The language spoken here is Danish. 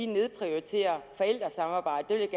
nedprioriterer forældresamarbejdet